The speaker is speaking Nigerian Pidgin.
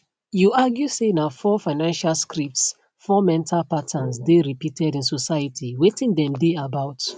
you argue say na four financial scripts four mental patterns dey repeated in society wetin dem dey about